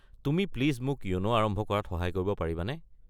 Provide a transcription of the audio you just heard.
তুমি প্লিজ মোক য়োনো আৰম্ভ কৰাত সহায় কৰিব পাৰিবানে?